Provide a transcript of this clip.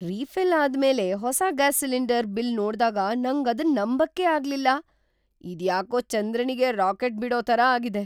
Refill ಅದ್ ಮೇಲೆ ಹೊಸ ಗ್ಯಾಸ್ ಸಿಲಿಂಡರ್ ಬಿಲ್ ನೋಡ್ದಾಗ ನಂಗ್ ಅದನ್ ನಂಬಕೆ ಆಗ್ಲಿಲ್ಲ. ಇದ್ ಯಾಕೋ ಚಂದ್ರನಿಗೆ ರಾಕೆಟ್ ಬಿಡೋ ತರ ಆಗಿದೆ !